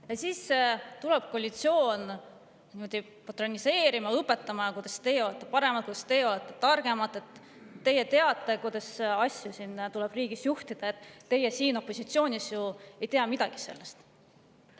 Ja siis tuleb koalitsioon patroniseerima ja õpetama, kuidas nemad on paremad, nemad on targemad, nemad teavad, kuidas asju tuleb riigis juhtida, ja opositsioon ei tea midagi sellest.